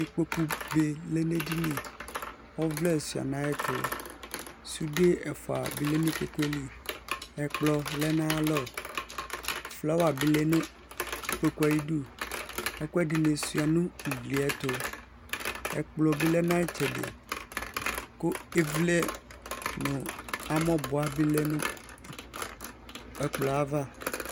Ikpokʋ be lɛnʋ edini ɔvlɛ suía nʋ ayʋ ɛtʋ sude ɛfʋa bi lɛnʋ ikpokʋ li ɛkplɔ lɛnʋ ayʋ alɔ flawa bi lɛnʋ ikpokʋ ayu idʋ ɛkʋ ɛdini suia nʋ ʋgli yɛtʋ ɛkplɔbi lɛnʋ ayʋ itsɛdi kʋ ivli nʋ amɔbua bi lɛnʋ ɛkplɔ yɛ ava